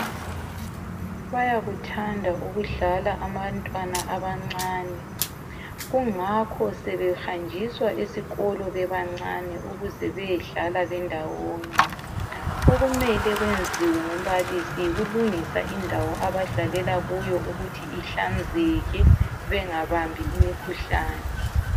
Bayakuthanda ukudlala abantwana abancane. Kungakho sebehanjiswa esikolo bebancane ukuze beyedlala bendawonye. Okumele kwenziwe ngumbalisi yikulungisa indawo abadlalela kuyo ukuthi ihlanzeke bengabambi imikhuhlane.